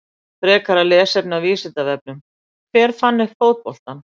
Frekara lesefni af Vísindavefnum: Hver fann upp fótboltann?